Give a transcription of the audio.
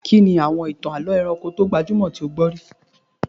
Kí ni àwọn ìtàn àlọ́ ẹranko tó gbajúmọ̀ tí o ti gbọ́ rí?